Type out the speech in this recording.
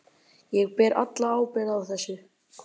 Ég ber alla ábyrgð á þessu.